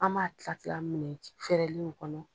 An b'a kila kila munnu ye fɛrɛlenw kɔnɔ.